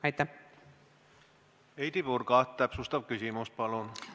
Heidy Purga, täpsustav küsimus, palun!